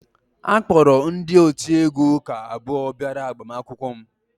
A kpọrọ ndị otiegwu ụka abụọ bịara agbamakwụkwọ m